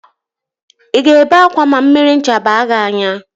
Ị ga-ebe ákwá ma mmiri ncha baa gị n'anya